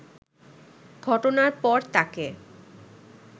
ঘটনার পর তাকে